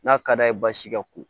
N'a ka d'a ye baasi ka ko